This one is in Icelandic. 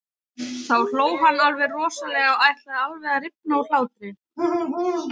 Þá hló hann alveg rosalega, ætlaði alveg að rifna úr hlátri.